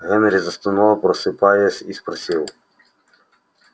генри застонал просыпаясь и спросил